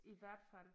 I hvert fald